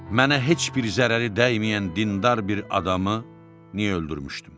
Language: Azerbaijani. Mənə heç bir zərəri dəyməyən dindar bir adamı niyə öldürmüşdüm?